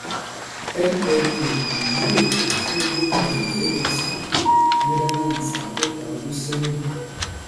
mma ìlú èkó tí wọ́n gbé kalẹ̀ lẹ́yìn schipol netherlands àádọ́ta ọdún ṣẹ́yìn.